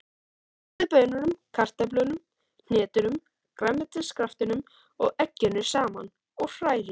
Blandið baununum, kartöflunum, hnetunum, grænmetiskraftinum og egginu saman og hrærið.